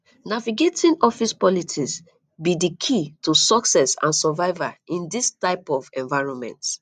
navigating office politics be di key to success and survival in dis type of environment